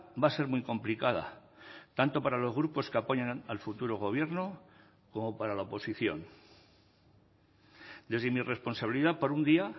va a ser muy complicada tanto para los grupos que apoyan al futuro gobierno como para la oposición desde mi responsabilidad por un día